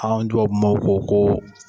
An tubabu maaw ko ko